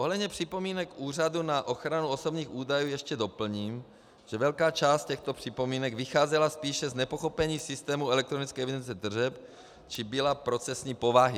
Ohledně připomínek Úřadu na ochranu osobních údajů ještě doplním, že velká část těchto připomínek vycházela spíše z nepochopení systému elektronické evidence tržeb či byla procesní povahy.